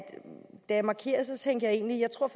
da jeg markerede tænkte jeg egentlig jeg tror